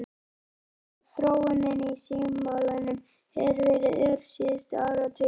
Þróunin í símamálum hefur verið ör síðustu áratugi.